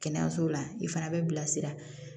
Kɛnɛyaso la i fana bɛ bilasira